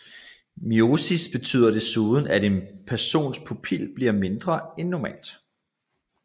Miosis betyder desuden at en persons pupil bliver mindre end normalt